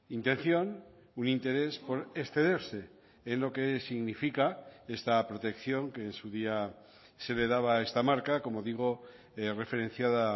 intención un interés por excederse en lo que significa esta protección que en su día se le daba a esta marca como digo referenciada